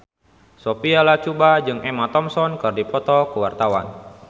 Sophia Latjuba jeung Emma Thompson keur dipoto ku wartawan